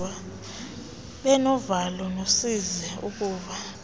benovalo nosizi ukuva